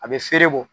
A bɛ feere bɔ